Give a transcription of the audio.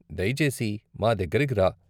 దయచేసి మా దగ్గరకు రా.